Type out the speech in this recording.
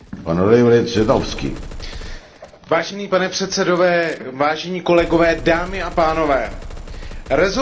Rezolucí o Sýrii jsme měli již v Evropském parlamentu hodně, ale tato je něčím výjimečná a výjimečně důležitá.